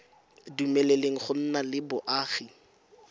dumeleleng go nna le boagi